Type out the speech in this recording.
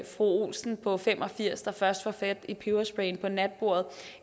fru olsen på fem og firs år der først får fat i pebersprayen på natbordet